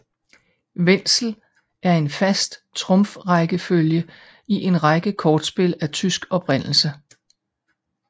Wenzel er en fast trumfrækkefølge i en række kortspil af tysk oprindelse